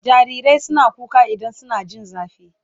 Jarirai suna kuka idan suna jin zafi